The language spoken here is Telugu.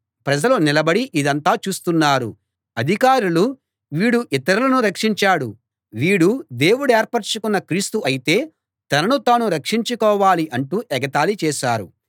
ప్రజలు నిలబడి ఇదంతా చూస్తున్నారు అధికారులు వీడు ఇతరులను రక్షించాడు వీడు దేవుడేర్పరచుకున్న క్రీస్తు అయితే తనను తాను రక్షించుకోవాలి అంటూ ఎగతాళి చేశారు